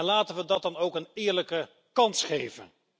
Laten we dat dan ook een eerlijke kans geven.